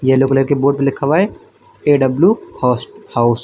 Yellow colour के board पे लिखा हुआ है ए_डब्लू होस हाउस ।